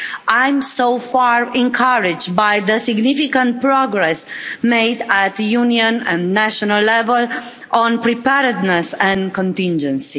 I'm so far encouraged by the significant progress made at the Union and national level, on preparedness and contingency.